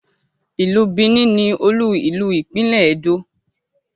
ilú Benin ní olú ilu ìpínlè Edo